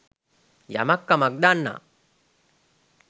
යමක් කමක් දන්නා